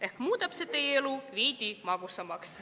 Ehk muudab see teie elu veidi magusamaks.